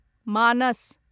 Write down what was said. मानस